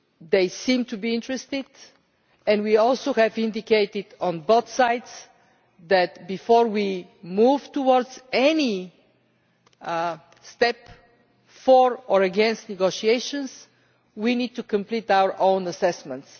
They seem to be interested and we have also indicated on both sides that, before we move towards any step for or against negotiations, we need to complete our own assessments.